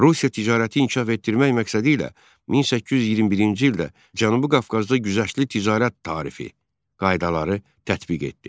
Rusiya ticarəti inkişaf etdirmək məqsədilə 1821-ci ildə Cənubi Qafqazda güzəştli ticarət tarifi, qaydaları tətbiq etdi.